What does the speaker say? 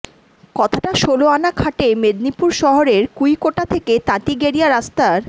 কথাটা ষোলোআনা খাটে মেদিনীপুর শহরের কুইকোটা থেকে তাঁতিগেড়িয়া রাস্তার